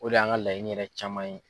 O de y'an ka laɲini yɛrɛ caman ye.